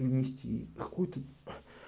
и внести какую-то